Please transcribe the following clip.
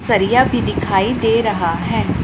सरिया भी दिखाई दे रहा है।